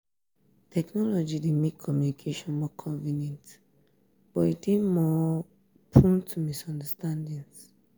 technology dey make communication more convenient but e dey more um prone to misunderstandings.